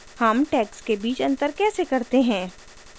how tags के बीच अंतर कैसे करते हैं